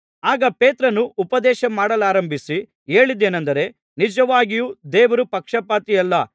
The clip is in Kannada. ಆಗ ಪೇತ್ರನು ಉಪದೇಶಮಾಡಲಾರಂಭಿಸಿ ಹೇಳಿದ್ದೇನಂದರೆ ನಿಜವಾಗಿಯೂ ದೇವರು ಪಕ್ಷಪಾತಿಯಲ್ಲ